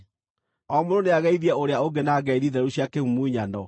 O mũndũ nĩageithie ũrĩa ũngĩ na ngeithi theru cia kĩmumunyano.